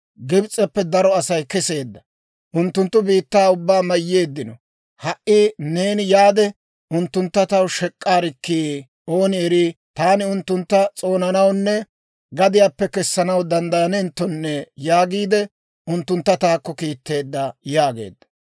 ‹Gibs'eppe daro Asay keseedda; unttunttu biittaa ubbaa mayyeeddino. Ha"i neeni yaade, unttuntta taw shek'k'aarikkii! Ooni erii, taani unttuntta s'oonanawunne gadiyaappe kessanaw danddayanenttonne› yaagiide unttuntta taakko kiitteedda» yaageedda.